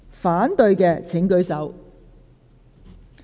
反對的請舉手。